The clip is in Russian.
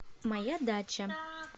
моя дача